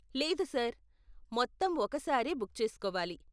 లేదు సార్, మొత్తం ఒక సారే బుక్ చేసుకోవాలి.